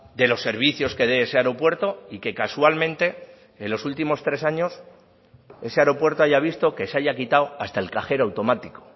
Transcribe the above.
de los servicios que dé ese aeropuerto y que casualmente en los últimos tres años ese aeropuerto haya visto que se haya quitado hasta el cajero automático